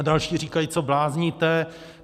A další říkají: Co blázníte?